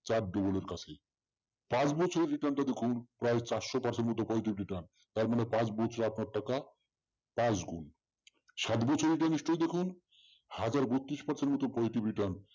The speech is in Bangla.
চার double এর কাছে পাঁচ বছরের return টা দেখুন প্রায় চারশ percent মতো positive return তার মানে পাঁচ বছরে আপনার টাকা পাঁচ গুণ। সাত বছরের return দেখুন হাজার বত্রিশ percent মতো positive return